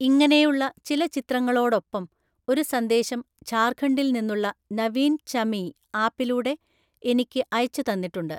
ഇങ്ങനെയുള്ള ചില ചിത്രങ്ങളോടൊപ്പം ഒരു സന്ദേശം ഝാര്‍ഖണ്ഡില്‍ നിന്നുള്ള നവീന്‍ ചമീ ആപ്പിലൂടെ എനിക്ക് അയച്ചു തന്നിട്ടുണ്ട്.